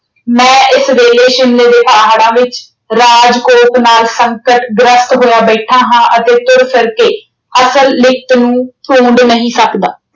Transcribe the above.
ਮੈਂ ਇਸ ਵੇਲੇ ਸ਼ਿਮਲੇ ਦੇ ਪਹਾੜਾਂ ਵਿੱਚ ਰਾਜਕੋਟ ਨਾਲ ਸੰਕਟ ਗ੍ਰਸਤ ਹੋਇਆ ਬੈਠਾ ਹਾਂ ਅਤੇ ਤੁਰ ਫਿਰ ਕੇ ਅਸਲ ਲਿਖਤ ਨੂੰ ਢੂੰਡ ਨਹੀਂ ਸਕਦਾ।